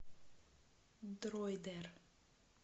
дроидер